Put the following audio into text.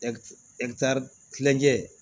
kilancɛ